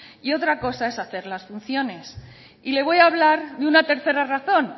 y otra cosa es hacer las funciones y le voy hablar de una tercera razón